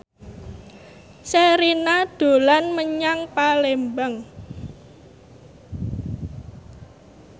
Sherina dolan menyang Palembang